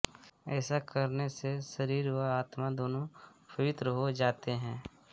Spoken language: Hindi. ऐसा करने से शरीर व आत्मा दोनों पवित्र हो जाते हैं